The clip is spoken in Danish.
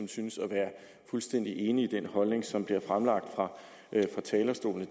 synes at være fuldstændig enige i den holdning som bliver fremlagt fra talerstolen